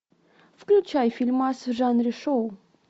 включай фильмас в жанре шоу